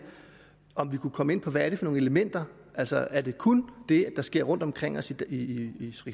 om vi kunne komme ind på hvad det er for nogle elementer altså er det kun det der sker rundt omkring os i